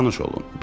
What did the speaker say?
Tanış olun.